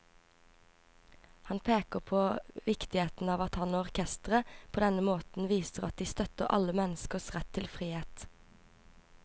Han peker på viktigheten av at han og orkesteret på denne måten viser at de støtter alle menneskers rett til frihet.